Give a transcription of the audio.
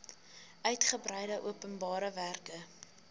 uigebreide openbare werke